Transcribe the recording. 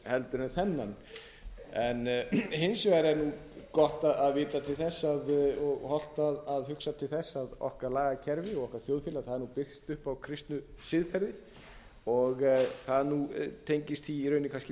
fund en þennan hins vegar er gott að vita til þess og hollt að hugsa til þess að okkar lagakerfi og okkar þjóðfélag er byggt upp á kristnu siðferði og það tengist því í rauninni kannski